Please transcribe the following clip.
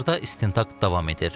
Hazırda istintaq davam edir.